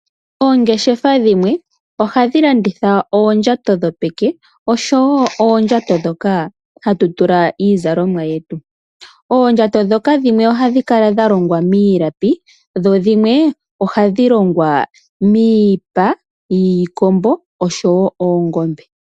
Oongeshefa dhimwe ohadhi landitha oondjato dhopeke, osho wo oondjato ndhoka hatu tula iizalomwa yetu. Oondjato ndhoka dhimwe ohadhi kala dha longwa miilapi, dho dhimwe ohadhi longwa miipa yiikombo osho wo oongombe.